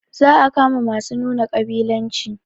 Za a kama masu nuna ƙabilanci